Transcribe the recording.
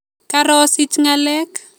Karosich ngalek